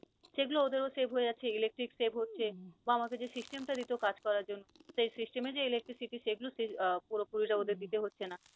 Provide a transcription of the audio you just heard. সেগুলো ওদের ও save হয়ে যাচ্ছে, electric save হচ্ছে বা আমাদের যে system টা দিত কাজ করার জন্য, সেই system এ যে electricity সেগুলো আহ পুরোপুরি টা ওদের দিতে হচ্ছে না।